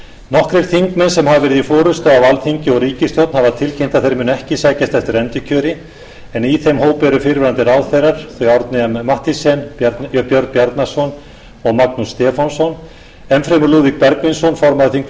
nokkrir þingmenn sem hafa verið í forustu á alþingi og ríkisstjórn hafa tilkynnt að þeir muni ekki sækjast eftir endurkjöri en í þeim hópi eru fyrrverandi ráðherrar þau árni m mathiesen björn bjarnason og magnús stefánsson enn fremur lúðvík bergvinsson formaður þingflokks